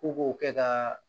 Ko k'o kɛ ka